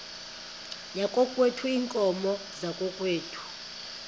yakokwethu iinkomo zakokwethu